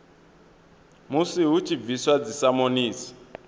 musi hu tshi bviswa dzisamonisi